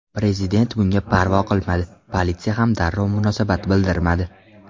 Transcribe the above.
Prezident bunga parvo qilmadi, politsiya ham darrov munosabat bildirmadi.